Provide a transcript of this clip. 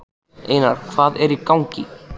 Einar, hvað hvað er í gangi?